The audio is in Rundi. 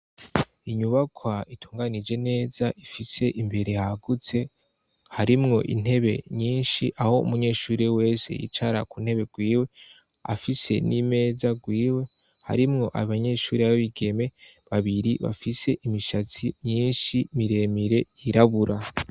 Inyubakwa itunganije neza ifise imbere hagutse harimwo intebe nyinshi aho umunyeshure wese yicara ku ntebe rwiwe, afise n'imeza rwiwe harimwo abanyeshuri b'abigeme babiri bafise imishatsi nyinshi miremire yirabura.